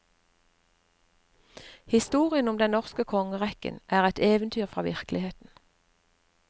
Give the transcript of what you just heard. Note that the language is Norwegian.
Historien om den norske kongerekken er et eventyr fra virkeligheten.